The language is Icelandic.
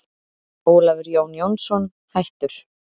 Ólafur Jón Jónsson, hættur